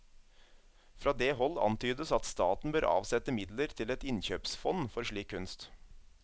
Fra det hold antydes at staten bør avsette midler til et innkjøpsfond for slik kunst.